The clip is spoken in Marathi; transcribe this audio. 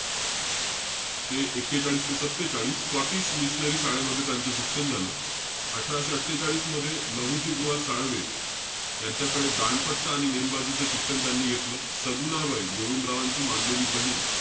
ते एक्केचाळीस ते सत्तेचाळीस, स्कॉटिश मिशनरी शाळेमध्ये त्यांचं शिक्षण झालं. अठराशे अट्ठेचाळीस मध्ये, लहुजी बुवा साळवे, यांच्याकडे दांडपट्टा आणि नेमबाजीच शिक्षण त्यांनी घेतलं. सगुणाबाई, गोविंदरावांची मानलेली बहीण,